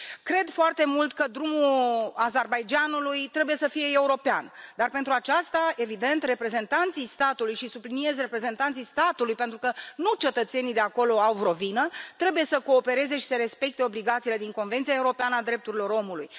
Cred foarte mult că drumul Azerbaidjanului trebuie să fie european, dar, pentru aceasta, evident, reprezentanții statului și subliniez, reprezentanții statului, pentru că nu cetățenii de acolo au vreo vină trebuie să coopereze și să respecte obligațiile din Convenția europeană a drepturilor omului.